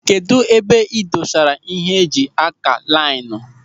Kedụ ebe ị dosara ịhe eji ákà laịnu.